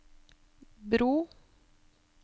bro